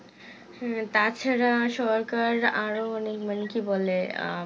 হুম তাছাড়া সরকার আরো অনেক মানে কি বলে আহ